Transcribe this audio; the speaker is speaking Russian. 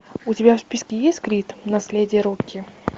у тебя в списке есть крид наследие рокки